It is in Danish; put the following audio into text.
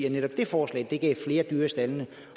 at netop det forslag gav flere dyr i staldene